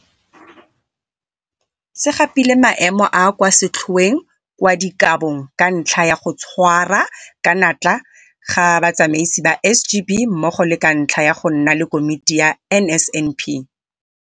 se gapile maemo a a kwa setlhoeng kwa dikabong ka ntlha ya go tshwara ka natla ga batsamaisi ba SGB mmogo le ka ntlha ya go nna le Komiti ya NSNP